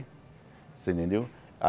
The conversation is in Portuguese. Você entendeu?